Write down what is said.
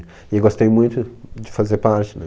E eu gostei muito de fazer parte, né?